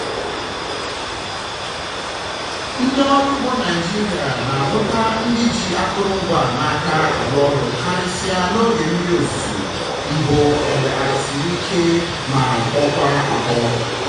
ndị ọrụ ugbo naịjiria na-ahụta ndị ji akụrụngwa a n’aka arụ ọrụ karịsịa n'oge mmiri ozuzo mbụ mgbe ala siri ike ma kpọkwaa akpọọ.